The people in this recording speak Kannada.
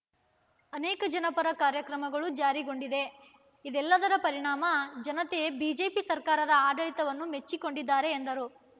ಅನೇಕ ಜನಪರ ಕಾರ್ಯಕ್ರಮ ಜಾರಿಗೊಂಡಿದೆ ಇದೆಲ್ಲದರ ಪರಿಣಾಮ ಜನತೆ ಬಿಜೆಪಿ ಸರ್ಕಾರದ ಆಡಳಿತವನ್ನು ಮೆಚ್ಚಿಕೊಂಡಿದ್ದಾರೆ ಎಂದರು